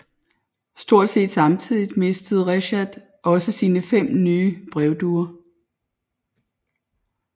Stort set samtidigt mistede Reshat også sine fem nye brevduer